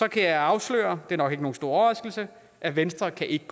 kan jeg afsløre det er nok ikke nogen stor overraskelse at venstre ikke